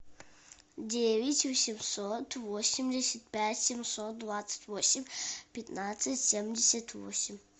девять восемьсот восемьдесят пять семьсот двадцать восемь пятнадцать семьдесят восемь